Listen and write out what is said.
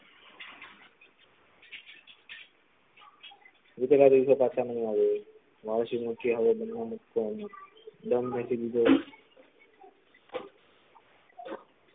દીપિકા દીદી સે બાત કરી હૈં મૌસી મુક્તી હવે